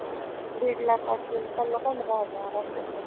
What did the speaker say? दीड lakh असेल त्यांना पंधरा हजार आस